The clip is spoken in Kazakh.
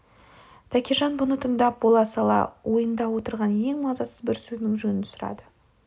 тәкежан бұны тыңдап бола сала ойында отырған ең мазасыз бір сөзінің жөнін сұрады